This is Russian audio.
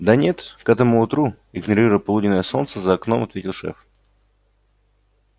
да нет к этому утру игнорируя полуденное солнце за окном ответил шеф